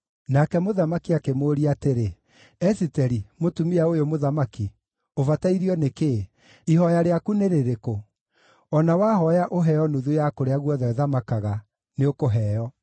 Nake mũthamaki akĩmũũria atĩrĩ, “Esiteri, mũtumia ũyũ mũthamaki, ũbatairio nĩ kĩĩ? Ihooya rĩaku nĩ rĩrĩkũ? O na wahooya ũheo nuthu ya kũrĩa guothe thamakaga, nĩũkũheo.”